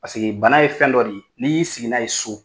Paseke bana ye fɛn dɔ de ye n'i y'i sigi n'a ye so.